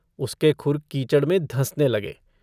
उसके खुर कीचड़ में धँसने लगे।